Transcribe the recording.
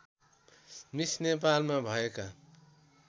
miss नेपालमा भएका